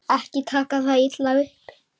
Ekki taka það illa upp.